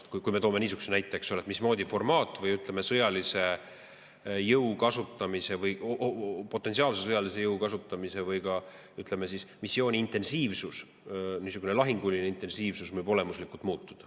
formaat või, ütleme, potentsiaalse sõjalise jõu kasutamise ehk missiooni intensiivsus, niisugune lahinguline intensiivsus võib olemuslikult muutuda.